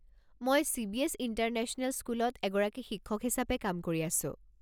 মই CBS. International স্কুলত এগৰাকী শিক্ষক হিচাপে কাম কৰি আছোঁ।